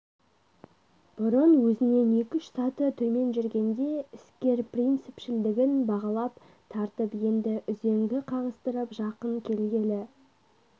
бұрын өзінен екі-үш саты төмен жүргенде іскер принципшілдігін бағалап тартып енді үзеңгі қағыстырып жақын келгелі